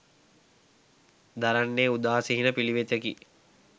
දරන්නේ උදාසීන පිළිවෙතකි